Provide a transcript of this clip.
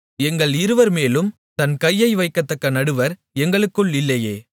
எங்கள் இருவர்மேலும் தன் கையை வைக்கத்தக்க நடுவர் எங்களுக்குள் இல்லையே